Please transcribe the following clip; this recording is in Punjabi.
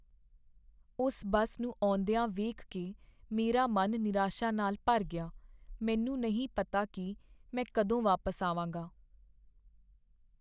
ਉਸ ਬੱਸ ਨੂੰ ਆਉਂਦੀਆਂ ਦੇਖ ਕੇ ਮੇਰਾ ਮਨ ਨਿਰਾਸ਼ਾ ਨਾਲ ਭਰ ਗਿਆ। ਮੈਨੂੰ ਨਹੀਂ ਪਤਾ ਕੀ ਮੈਂ ਕਦੋਂ ਵਾਪਸ ਆਵਾਂਗਾ।